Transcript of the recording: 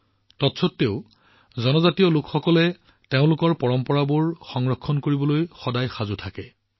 তৎস্বত্ত্বেও জনজাতীয় সমাজবোৰে তেওঁলোকৰ পৰম্পৰাবোৰ সংৰক্ষণ কৰিবলৈ সদায় সাজু থাকে